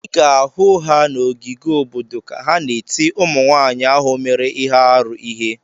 Ị ga-ahụ ha na ogige obodo ka ha na-eti ụmụnwaanyị ahụ mere ihe arụ ihe.